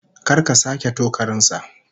Kar ka sake tokarin sa!